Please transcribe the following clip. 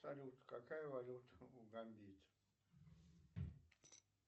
салют какая валюта у гамбийцев